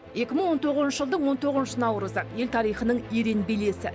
екі мың он тоғызыншы жылдың он тоғызыншы наурызы ел тарихының ерен белесі